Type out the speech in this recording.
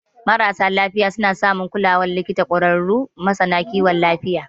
Marasa lafiya suna samun kulawar likita daga ƙwararrun masana kiwon lafiya.